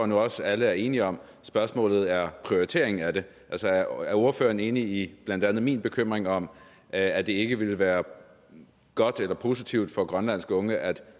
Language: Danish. nu også at alle er enige om spørgsmålet er prioriteringen af det altså er ordføreren enig i blandt andet min bekymring om at det ikke ville være godt eller positivt for grønlandske unge at